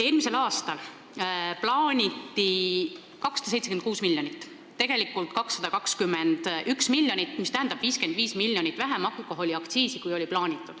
Eelmisel aastal plaaniti saada alkoholiaktsiisi 276 miljonit, aga tegelikult saadi 221 miljonit, mis on plaanitust 55 miljonit vähem.